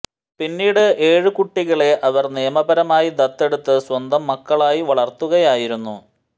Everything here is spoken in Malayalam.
പിന്നീട് ഏഴു കുട്ടികളെ അവർ നിയമപരമായി ദത്തെടുത്ത് സ്വന്തം മക്കളായി വളർത്തുകയായിരുന്നു